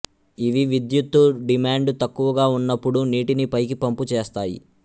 ఇవి విద్యుత్తు డిమాండు తక్కువగా ఉన్నప్పుడు నీటిని పైకి పంపు చేస్తాయి